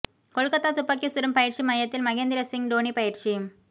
கொல்கத்தா துப்பாக்கி சுடும் பயிற்சி மையத்தில் மகேந்திர சிங் டோனி பயிற்சி